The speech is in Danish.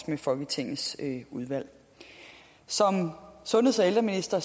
med folketingets udvalg som sundheds og ældreminister